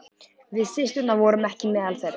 Við systurnar vorum ekki meðal þeirra.